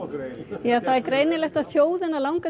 já það er greinilegt að þjóðina langar